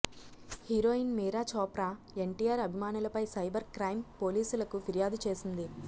heroine Meera Chopra NTR అభిమానులపై cyber crime పోలీసులకు ఫిర్యాదు చేసింది